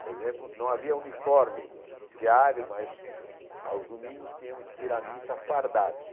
Por exemplo, não havia uniforme diário, mas aos domingos tínhamos que ir à missa fardados.